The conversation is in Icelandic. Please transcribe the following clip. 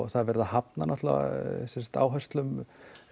það er verið að hafna áherslum